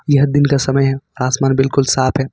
यह दिन का समय है आसमान बिल्कुल साफ है।